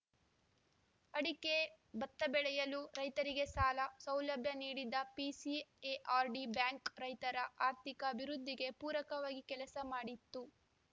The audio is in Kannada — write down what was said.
ಅಡಿಕೆ ಬತ್ತ ಬೆಳೆಯಲು ರೈತರಿಗೆ ಸಾಲ ಸೌಲಭ್ಯ ನೀಡಿದ್ದ ಪಿಸಿಎಆರ್‌ಡಿ ಬ್ಯಾಂಕ್‌ ರೈತರ ಆರ್ಥಿಕ ಅಭಿವೃದ್ಧಿಗೆ ಪೂರಕವಾಗಿ ಕೆಲಸ ಮಾಡಿತ್ತು